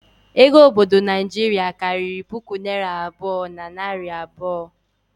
Ego obodo Naijiria karịrị puku naira abụọ na narị abụọ